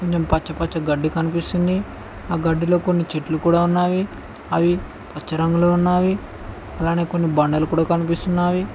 పచ్చి పచ్చి గడ్డి కనిపిస్తుంది ఆ గడ్డిలో కొన్ని చెట్లు కూడ ఉన్నావి అవి పచ్చ రంగులో ఉన్నావి అలానే కొన్ని బండలు కూడ కనిపిస్తున్నావి.